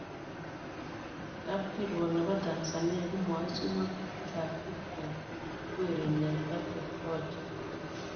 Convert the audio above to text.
Kapkirwok nebo Tanzania komaisup ngatutik ab Viking ak werinyin Papii Kocha